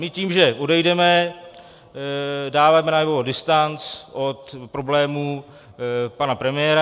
My tím, že odejdeme, dáváme najevo distanc od problémů pana premiéra.